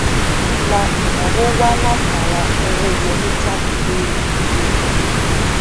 ilà ìnáwó wá látara owó wọléjáde lórí ìwé owó